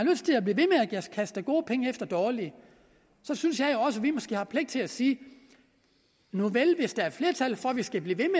kaste gode penge efter dårlige synes jeg også at vi måske har pligt til at sige nuvel hvis der er flertal for at vi skal blive ved